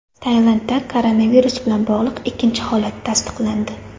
Tailandda koronavirus bilan bog‘liq ikkinchi holat tasdiqlandi.